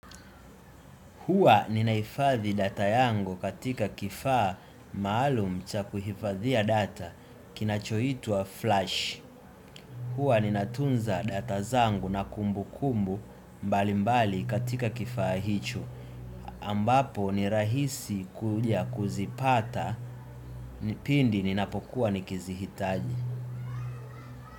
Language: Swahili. Huwa ninaifadhi data yangu katika kifaa maalum cha kuhifadhiya data kinachoitwa Flash. Hua ninatunza data zangu na kumbu kumbu mbali mbali katika kifaa hicho. Ambapo ni rahisi kuja kuzipata pindi ninapokuwa nikizihitaji.